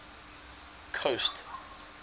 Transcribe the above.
coast